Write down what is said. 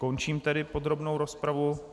Končím tedy podrobnou rozpravu.